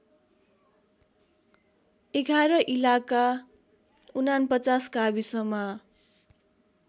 ११ इलाका ४९ गाविसमा